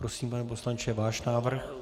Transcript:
Prosím, pane poslanče, váš návrh.